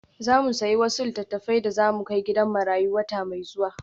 Za mu sayi wasu littattafai da za mu kai gidan marayu wata mai zuwa.